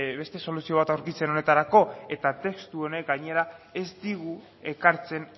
beste soluzio bat aurkitzen honetarako eta testu honek gainera ez digu ekartzen